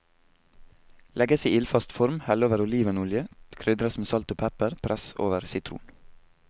Legges i ildfast form, hell over olivenolje, krydres med salt og pepper, press over sitron.